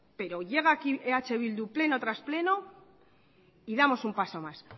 pero llega aquí eh bildu pleno tras pleno y damos un paso más